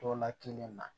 Dɔ la kelen na